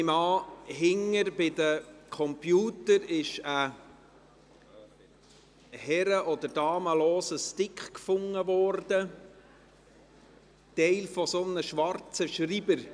Hinten bei den Computern – nehme ich an – wurde ein herren- oder damenloser Stick gefunden, Teil eines schwarzen Schreibers.